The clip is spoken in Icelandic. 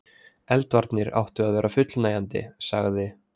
Eldvarnir áttu að vera fullnægjandi.- sagði